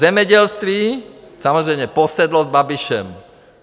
Zemědělství - samozřejmě posedlost Babišem.